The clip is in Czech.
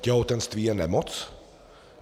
Těhotenství je nemoc?